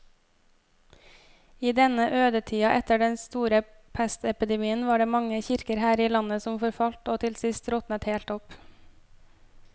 I denne ødetida etter den store pestepidemien var det mange kirker her i landet som forfalt og til sist råtnet helt opp.